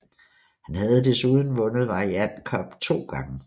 Han har desuden vundet variant cup to gange